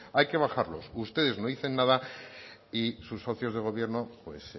hay que bajarlos ustedes no dicen nada y sus socios de gobierno pues